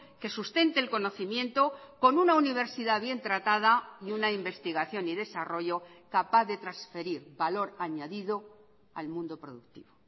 que sustente el conocimiento con una universidad bien tratada y una investigación y desarrollo capaz de transferir valor añadido al mundo productivo